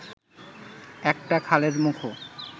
একটা খালের মুখও